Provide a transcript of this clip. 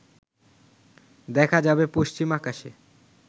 দেখা যাবে পশ্চিম আকাশে